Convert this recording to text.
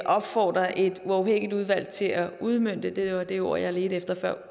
opfordrer et uafhængigt udvalg til at udmønte det var det ord jeg ledte efter